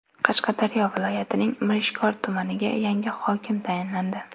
Qashqadaryo viloyatining Mirishkor tumaniga yangi hokim tayinlandi.